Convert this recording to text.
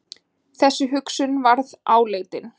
Þessi hugsun varð áleitin.